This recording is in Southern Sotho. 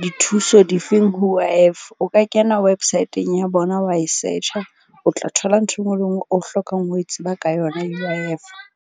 dithuso difeng ho U_I_F o ka kena website-ng ho bona wa e search-a. O tla thola ntho e nngwe le e nngwe o hlokang ho e tseba ka yona U_I_F.